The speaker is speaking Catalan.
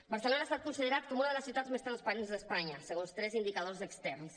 barcelona ha estat considerada com una de les ciutats més transparents d’espanya segons tres indicadors externs